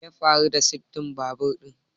Me ya faru da sirdin babur din?